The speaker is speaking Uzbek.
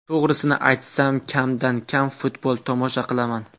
To‘g‘risini aytsam, kamdan kam futbol tomosha qilaman.